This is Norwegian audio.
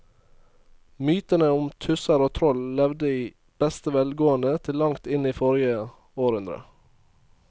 Mytene om tusser og troll levde i beste velgående til langt inn i forrige århundre.